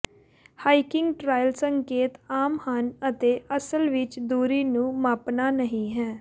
hiking trail ਸੰਕੇਤ ਆਮ ਹਨ ਅਤੇ ਅਸਲ ਵਿੱਚ ਦੂਰੀ ਨੂੰ ਮਾਪਣਾ ਨਹੀਂ ਹੈ